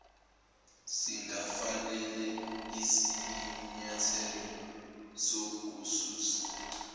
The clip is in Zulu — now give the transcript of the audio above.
singafanele isinyathelo sokususa